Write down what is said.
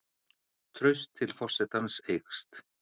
Traust til forsetans eykst